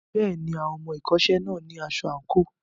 Bẹ́ẹ̀ni, àwọn ọmọ ẹ̀kọ́ṣẹ́ náà ní aṣọ àǹkóò.